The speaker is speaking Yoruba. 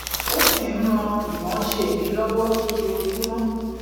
ó sì n ran imoose mi lowo lójoojúmó